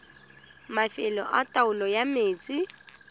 mafelo a taolo ya metsi